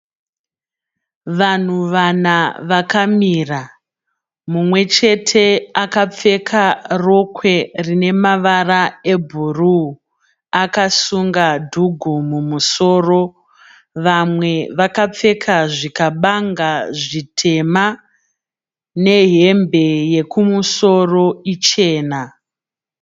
Vanhu vana vakamira. Mumwe chete akapfeka rokwe rine mavara ebhuru akasunga dhugu mumusoro. Vamwe vakapfeka zvikabanga zvitema nehembe yekumusoro ichena.